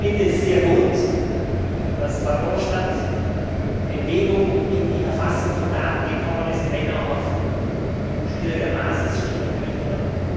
Ich finde es sehr gut, dass bei Eurostat Bewegung in die Erfassung von Daten gekommen ist, wenn auch auf schwieriger Basis, Stichwort Griechenland.